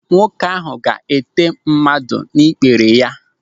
Nwoke ahụ ga-ete mmadụ n'ikpere ya.